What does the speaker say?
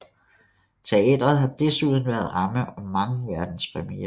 Teatret har desuden været ramme om mange verdenspremierer